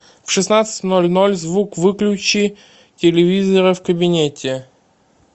в шестнадцать ноль ноль звук выключи телевизора в кабинете